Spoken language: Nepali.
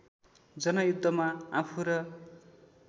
जनयुद्धमा आफू र